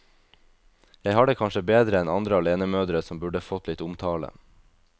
Jeg har det kanskje bedre enn andre alenemødre som burde fått litt omtale.